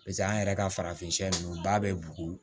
Paseke an yɛrɛ ka farafin ninnu ba bɛ bugu